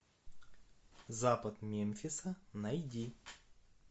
запад мемфиса найди